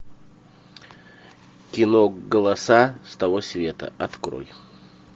кино голоса с того света открой